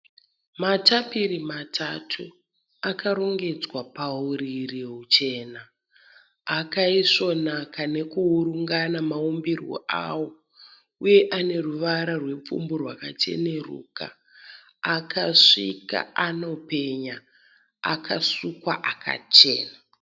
Matapiri matatu akarongedzwa pauriri huchena. Akaisvonaka nekuurungana maumbirwo awo uye aneruvara rwepfumbu rwakacheneruka, akasvika, anopenya, akasukwa akachena.